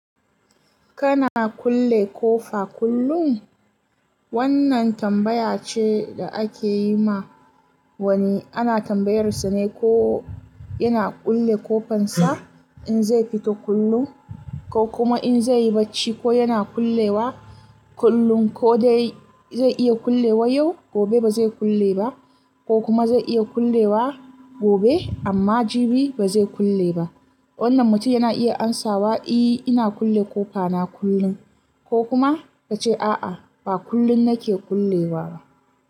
Kana kulle kofa kullum? Wannan tambaya ce da ake yi ma wani. Ana tambayarsa ne ko yana kulle kofansa in zai fito kullum ko kuma in zai yi bacci, ko yana kullewa kullum ko dai zai iya kullewa yau, gobe ba zai kulle ba ko kuma zai iya kullewa gobe amma jibi ba zai kulle ba. Wannan mutum yana iya amsawa, "Eh, ina kulle kofa na kullum" ko kuma ta ce, "A'a, ba kullum nake kullewa ba."